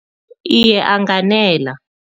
Iye, anganela.